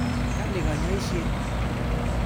Kali kanyoiset.